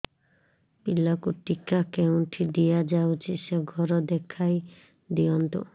ପିଲାକୁ ଟିକା କେଉଁଠି ଦିଆଯାଉଛି ସେ ଘର ଦେଖାଇ ଦିଅନ୍ତୁ